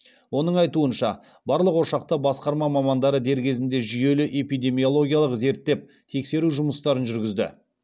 оның айтуынша барлық ошақта басқарма мамандары дер кезінде жүйелі эпидемиологиялық зерттеп тексеру жұмыстарын жүргізді